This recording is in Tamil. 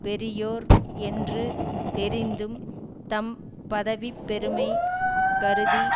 பெரியோர் என்று தெரிந்தும் தம் பதவி பெருமை கருதி